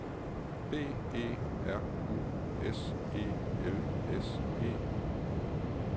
B E R U S E L S E